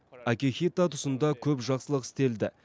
акихито тұсында көп жақсылық істелді